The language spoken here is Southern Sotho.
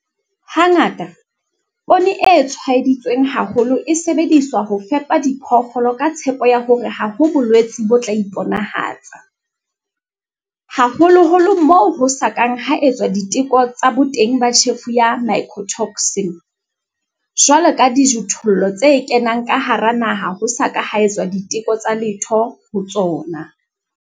Hangata, poone e tshwaeditsweng haholo e sebediswa ho fepa diphoofolo ka tshepo ya hore ha ho bolwetse bo tla iponahatsa, haholoholo moo ho sa kang ha etswa diteko tsa boteng ba tjhefo ya mycotoxin, jwalo ka dijothollo tse kenang ka hara naha ho sa ka ha etswa diteko tsa letho ho tsona.